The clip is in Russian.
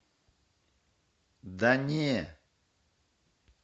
да не